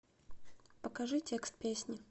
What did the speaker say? покажи текст песни